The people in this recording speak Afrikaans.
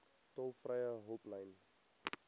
tolvrye hulplyn